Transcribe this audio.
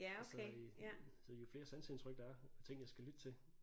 Så øh så jo flere sanseindtryk der er ting jeg skal lytte til